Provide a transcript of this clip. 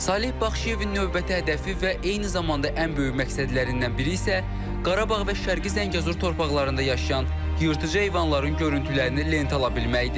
Saleh Baxşıyevin növbəti hədəfi və eyni zamanda ən böyük məqsədlərindən biri isə Qarabağ və Şərqi Zəngəzur torpaqlarında yaşayan yırtıcı heyvanların görüntülərini lentə ala bilməkdir.